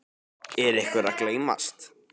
Er einhver að gleymast?